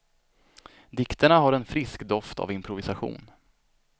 Dikterna har en frisk doft av improvisation.